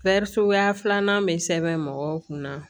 Fɛri suguya filanan bɛ sɛbɛn mɔgɔw kun na